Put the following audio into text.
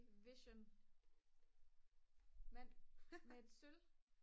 vision mand med et sølv